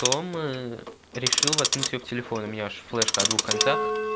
том решил воткнуть её в телефон у меня же флешка о двух концах